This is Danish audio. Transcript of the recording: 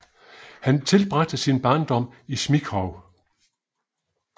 Han tilbragte sin barndom i Smíchove